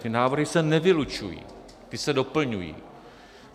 Ty návrhy se nevylučují, ty se doplňují.